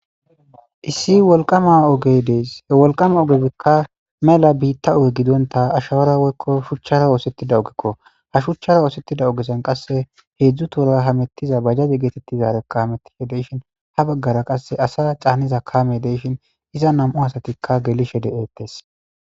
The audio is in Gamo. Issi woliqama ogedeeshe woliqama ogebikka mela biitta oge gidonta ashawara woyiko shuchchara oosettida ogekko ha shuchchara oosettida ogesan qasse heedzu toora hamettiza bajjaze geetettizarekkametishe deyshin ha baggara qasse asa caanniza kaame deshin iza nam'u asatikka gelishe de'eettes